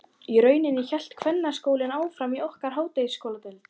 Í rauninni hélt kvennaskólinn áfram í okkar háskóladeild.